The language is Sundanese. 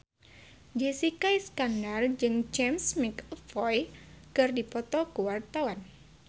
Jessica Iskandar jeung James McAvoy keur dipoto ku wartawan